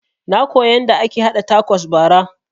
Na koya yanda ake haɗa takos bara